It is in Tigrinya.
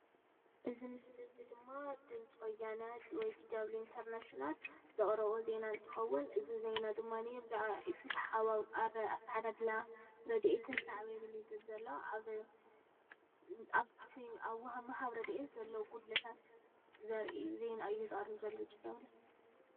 እዚ ምስሊ እዚ ድማ ድምፂ ወያነ ወይ ዲዳብሊው ኢንተርናሽናል ዘቅርቦ ዜና እንትክውን እዚ ዜና ድማ ብዛዕባ ኢፍትሓዊ አተዓዳድላ ረዴኢትን ሳዕብየኑን እዩ ዝብል ዘሎ አብ ምሃብ ረዴኤት ዘሎ ጉድለታት ዘረኢ ዜና እዩ ዘቅረብ ዘሎ ዲዳብሊው ፡፡